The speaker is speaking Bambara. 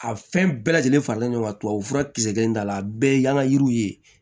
A fɛn bɛɛ lajɛlen faralen ɲɔgɔn kan tubabu fura kisɛ kelen t'a la a bɛɛ ye yan ka yiriw ye